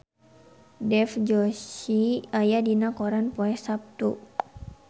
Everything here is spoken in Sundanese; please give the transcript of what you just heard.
Dev Joshi aya dina koran poe Saptu